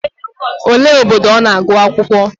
Olee obodo ọ nọ agụ akwụkwọ?